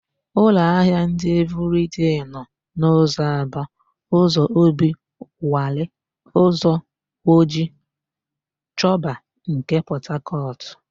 Ụlọahịa ndị Evịrịdei nọ: n'ụzọ Aba, ụzọ Obiwalị, ụzọ Woji, Choba nke Pọtakọtụ.